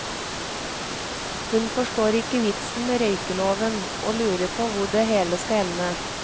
Hun forstår ikke vitsen med røykeloven, og lurer på hvor det hele skal ende.